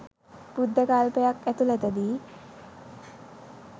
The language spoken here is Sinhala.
බුද්ධ කල්පයක් ඇතුලතදී